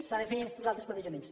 s’han de fer uns altres plantejaments